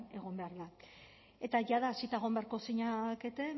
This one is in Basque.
egon behar da eta jada hasita egon beharko zinateketen